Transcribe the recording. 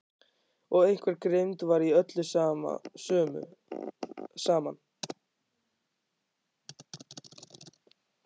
Og einhver grimmd var í öllu saman.